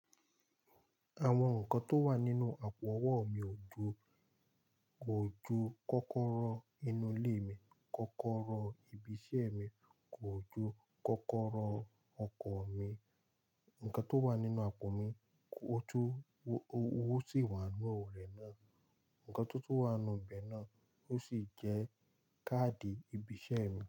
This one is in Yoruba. Àwọn nǹkan tó wà nínú àpò ọwọ́ mi ò ju kò ju kọ́kọ́rọ́ inú ilé mi, kọ́kọ́rọ́ ibi iṣẹ́ mi, kò ju kọ́kọ́rọ́ ọkọ̀ mi. Nǹkan tó wà nínú àpò mi, ó tún owó tì wà nínú rẹ̀ náà. Nǹkan tó tún wà ń'nú ibẹ̀ náà ó sì jẹ́ káàdì ibi iṣẹ́ mi.